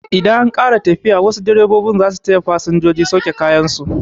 Idan an ƙare tafiya, wasu direbobin zasu taya fasinjoji sauke kayan su